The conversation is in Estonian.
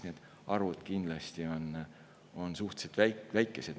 Need arvud on kindlasti suhteliselt väikesed.